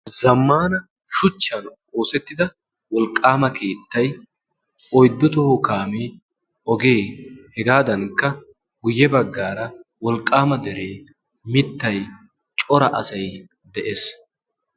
zammana shuchchan oosettida wolqqaama keettay oyddu toho kaamee ogee hegaadankka guyye baggaara wolqqaama deree mittay cora asay de'ees